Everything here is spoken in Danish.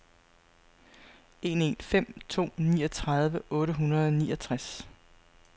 en en fem to niogtredive otte hundrede og niogtres